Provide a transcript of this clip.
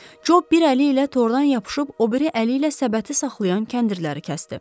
Co bir əli ilə tordan yapışıb o biri əli ilə səbəti saxlayan kəndirləri kəsdi.